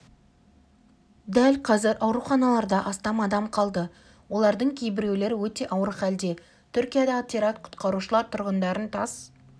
дәл қазір ауруханаларда астам адам қалды олардың кейбіреулері өте ауыр халде түркиядағы теракт құтқарушылар тұрғындарын тас